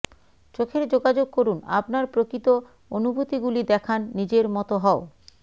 চোখের যোগাযোগ করুন আপনার প্রকৃত অনুভূতিগুলি দেখান নিজের মত হও